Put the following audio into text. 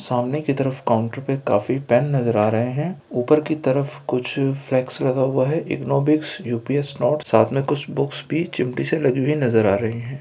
सामने की तरफ काउंटर पे काफी पेन नजर आ रहे है ऊपर की तरफ कुछ फ्लेक्स लगा हुआ है इग्नू बुक्स यू.पी.एस. नोट्स साथ में कुछ बुक्स भी चिमटी से लगी हुई नजर आ रही है।